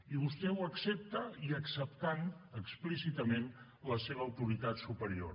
i vostè ho accepta i acceptant explícitament la seva autoritat superior